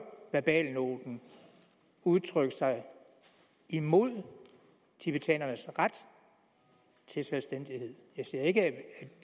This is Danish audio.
verbalnoten udtrykt sig imod tibetanernes ret til selvstændighed jeg siger ikke